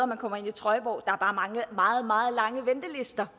man kommer ind i trøjborg men er bare meget meget lange ventelister